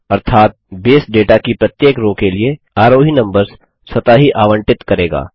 अर्थात base data की प्रत्येक रो के लिए आरोही नम्बर्स स्वतः ही आवंटित करेगा